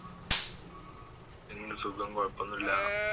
എന്ത് സുഖം കുഴപ്പൊന്നുല്ല